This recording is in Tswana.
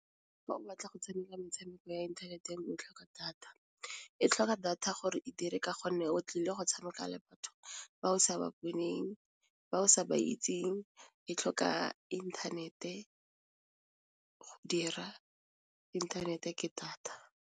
Fa o batla go tshameka metshameko ya inthaneteng o tlhoka data e tlhoka data gore e dire ka gonne o tlile go tshameka le batho ba o sa ba boneng, ba o sa ba itseng e tlhoka inthanete go dira inthanete ke data.